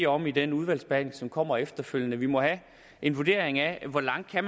om i den udvalgsbehandling som kommer efterfølgende vi må have en vurdering af hvor langt man